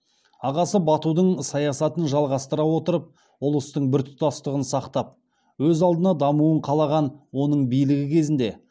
ағасы батудың саясатын жалғастыра отырып ұлыстың біртұтастығын сақтап өз алдына дамуын қалаған оның билігі кезінде